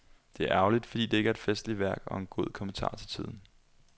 Det er ærgerligt, fordi det er et festligt værk og en god kommentar til tiden.